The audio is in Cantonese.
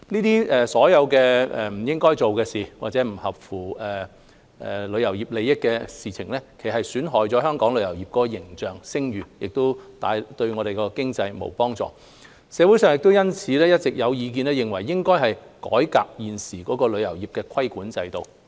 這些不應該做的事，或者不合乎旅遊業利益的事情，其實是在損害本港旅遊業的形象和聲譽，對我們的經濟沒幫助，社會上因此有意見認為，應改革現時的旅遊業規管制度。